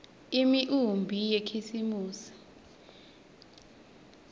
imiumbi yakhisimusi